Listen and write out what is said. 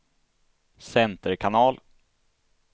center kanal